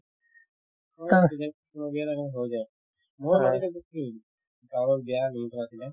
মোৰ বিয়াত আৰু হৈ যায় কাৰোবাৰ বিয়াৰ reception আছিলে